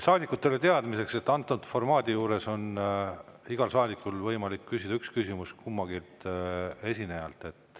Saadikutele teadmiseks, et antud formaadi juures on igal saadikul võimalik küsida üks küsimus kummaltki esinejalt.